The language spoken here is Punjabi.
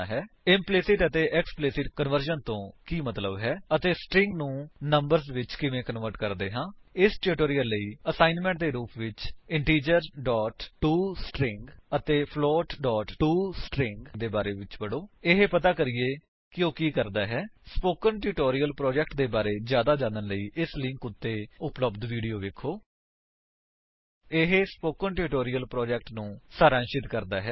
ਇੰਪਲੀਸਿਟ ਅਤੇ ਐਕਸਪਲਿਸਿਟ ਕਨਵਰਜਨ ਤੋਂ ਕੀ ਮੰਤਵ ਹੈ ਅਤੇ ਸਟਰਿੰਗ ਨੂੰ ਨੰਬਰਸ ਵਿੱਚ ਕਿਵੇਂ ਕਨਵਰਟ ਕਰਦੇ ਹਾਂ ਇਸ ਟਿਊਟੋਰਿਅਲ ਲਈ ਅਸਾਇਣਮੈਂਟ ਦੇ ਰੂਪ ਵਿੱਚ ਇੰਟੀਜਰ ਟੋਸਟਰਿੰਗ ਅਤੇ ਫਲੋਟ ਟੋਸਟਰਿੰਗ ਦੇ ਬਾਰੇ ਵਿੱਚ ਪੜੋ ਅਤੇ ਪਤਾ ਕਰੀਏ ਕਿ ਉਹ ਕੀ ਕਰਦਾ ਹੈ160 ਸਪੋਕਨ ਟਿਊਟੋਰਿਅਲ ਪ੍ਰੋਜੇਕਟ ਦੇ ਬਾਰੇ ਵਿੱਚ ਜਿਆਦਾ ਜਾਣਨ ਲਈ ਇਸ ਉੱਤੇ ਉੱਤੇ ਉਪਲੱਬਧ ਵੀਡੀਓ ਵੇਖੋ ਇਹ ਸਪੋਕਨ ਟਿਊਟੋਰਿਅਲ ਪ੍ਰੋਜੇਕਟ ਨੂੰ ਸਾਰਾਂਸ਼ਿਤ ਕਰਦਾ ਹੈ